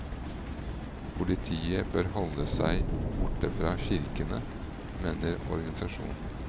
Politiet bør holde seg borte fra kirkene, mener organisasjonen.